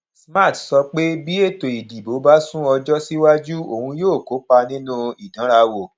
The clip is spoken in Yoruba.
smart sọ pé bí ètò ìdìbò bá sún ọjọ síwájú òun yóò kópa nínú ìdánrawò